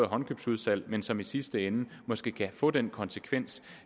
håndkøbsudsalg en konkurrence som i sidste ende måske kan få den konsekvens